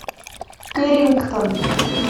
кэррингтон